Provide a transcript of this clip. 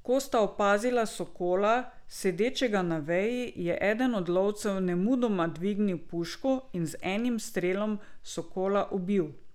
Ko sta opazila sokola, sedečega na veji, je eden od lovcev nemudoma dvignil puško in z enim strelom sokola ubil.